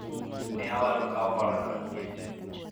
ne awalo kawo hola no nikech